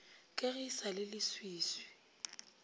ka ge e sa leleswiswi